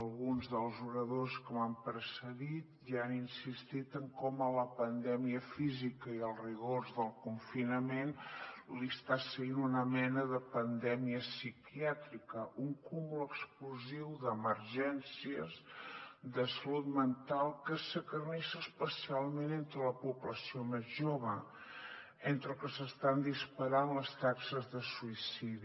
alguns dels oradors que m’han precedit ja han insistit en com a la pandèmia física i els rigors del confinament li està seguint una mena de pandèmia psiquiàtrica un cúmul explosiu d’emergències de salut mental que s’acarnissa especialment entre la població més jove entre els que s’estan disparant les taxes de suïcidi